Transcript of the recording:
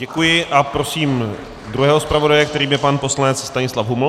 Děkuji a prosím druhého zpravodaje, kterým je pan poslanec Stanislav Huml.